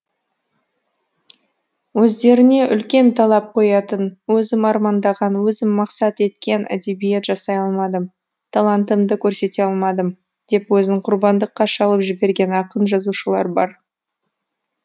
өздеріне үлкен талап қоятын өзім армандаған өзім мақсат еткен әдебиет жасай алмадым талантымды көрсете алмадым деп өзін құрбандыққа шалып жіберген ақын жазушылар бар